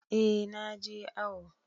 Eh na je awo.